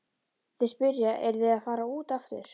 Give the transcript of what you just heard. Þeir spyrja, eruð þið að fara út aftur?